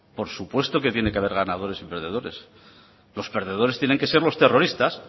por supuesto que tiene que haber ganadores y perdedores los perdedores tienen que ser los terroristas